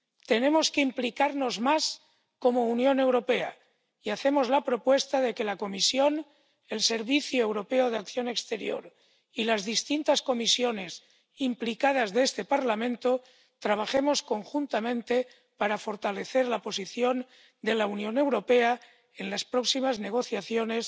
Tenemos que implicarnos más como Unión Europea, y hacemos la propuesta de que la Comisión, el Servicio Europeo de Acción Exterior y las distintas comisiones implicadas de este Parlamento trabajemos conjuntamente para fortalecer la posición de la Unión Europea en las próximas negociaciones